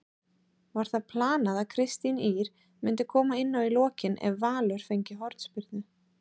Var það planað að Kristín Ýr myndi koma inná í lokin ef Valur fengi hornspyrnu?